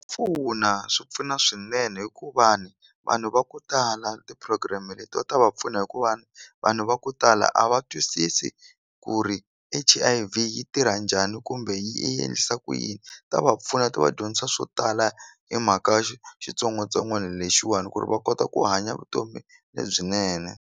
Pfuna swi pfuna swinene hi ku vanhu vanhu va ku tala ti-program letiwa ta va pfuna hikuva vanhu va ku tala a va twisisi ku ri H_I_V yi tirha njhani kumbe yi endlisa ku yini ta va pfuna ti va dyondzisa swo tala hi mhaka xitsongwatsongwana lexiwani ku ri va kota ku hanya vutomi lebyinene.